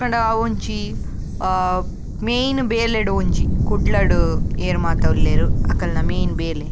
ಪಂಡ ಅವ್ವೊಂಜಿ ಅಹ್ ಮೈನ್ ಬೇಲೆಡ್ ಒಂಜಿ ಕುಡ್ಲಡ್ ಏರ್ ಮಾತ ಉಲ್ಲೆರ್ ಅಕಲ್ನ ಮೈನ್ ಬೇಲೆ.